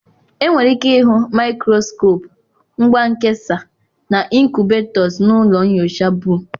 Enwere ike ịhụ maịkroskop, ngwa nkesa, na ịnkubetos na ụlọ nyocha Boo.